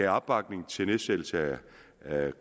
opbakning til nedsættelse